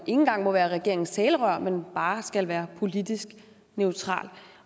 engang må være regeringens talerør men bare skal være politisk neutral